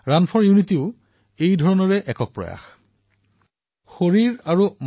run for ইউনিটীও এনে ধৰণেই এক ব্যৱস্থা হিচাপে পৰিগণিত হৈছে